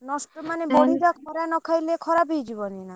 ନଷ୍ଟ ମାନେ ବଡି ଟା ଖରା ନ ଖାଇଲେ ଖରାପ ହେଇ ଯିବନି ନା।